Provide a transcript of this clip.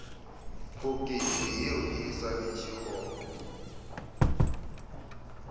phokotšo yeo e swanetše go